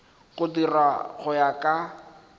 go dirwa go ya ka